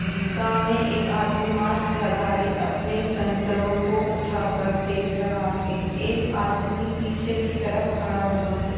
है सामने एक आदमी मास्क लगाए अपने संतरों को उठाकर देख रहा है। एक आदमी पीछे की तरफ खड़ा हुआ है।